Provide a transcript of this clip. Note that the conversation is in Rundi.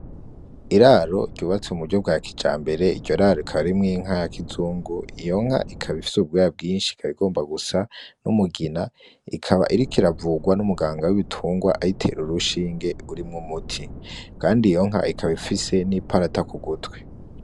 Iraro ryubatswe mu buryo bwa kijambere iryo raro rikaba ririmwo inka ya kizungu iyo nka ikaba ifise ubwoya bwinshi ikaba igomba gusa n'umugina ikaba iriko iravugwa n'umuganga w'ibitungwa ayitera urushinge rurimwo umuti, kandi iyo nka ikaba ifise n'iparata kugutwi.